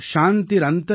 शान्तिरोषधय शान्ति